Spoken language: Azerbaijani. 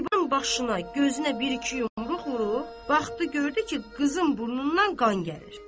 Zibanın başına gözünə bir iki yumruq vurdu, baxdı gördü ki, qızın burnundan qan gəlir.